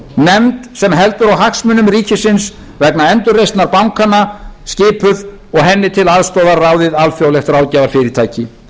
nefnd sem heldur á hagsmunum ríkisins vegna endurreisnar bankanna skipuð og henni til aðstoðar ráðið alþjóðlegt ráðgjafarfyrirtæki